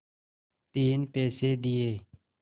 तीन पैसे दिए